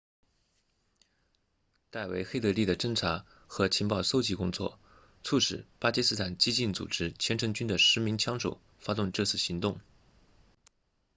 戴维黑德利 david headley 的侦察和情报搜集工作促使巴基斯坦激进组织虔诚军 laskhar-e-taiba 的10名枪手发动这次行动